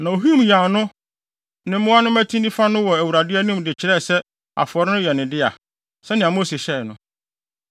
Na ohim yan no ne mmoa no mmati nifa no wɔ Awurade anim de kyerɛɛ sɛ afɔre no yɛ ne dea, sɛnea Mose hyɛe no.